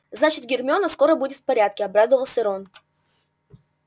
значит гермиона скоро будет в порядке обрадовался рон